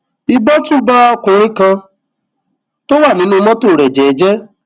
ìbọn tún bá ọkùnrin kan tó wà nínú mọtò rẹ jẹẹjẹẹ